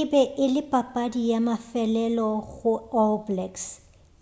e be e le papadi ya mafelelo go all blacks